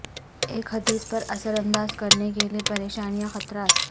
ایک حدیث پر اثر انداز کرنے کے لئے پریشانیاں خطرات